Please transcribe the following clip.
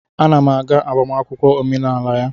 Ana m aga agbamakwụkwọ omenala ya